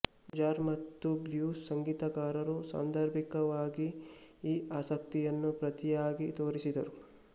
jazz ಮತ್ತು blues ಸಂಗೀತಕಾರರು ಸಾಂದರ್ಭಿಕವಾಗಿ ಈ ಆಸಕ್ತಿಯನ್ನು ಪ್ರತಿಯಾಗಿ ತೋರಿಸಿದರು